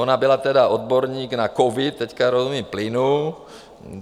Ona byla tedy odborník na covid, teď rozumí plynu.